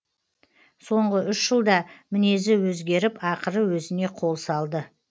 соңғы үш жылда мінезі өзгеріп ақыры өзіне қол салды